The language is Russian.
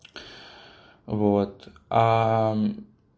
вот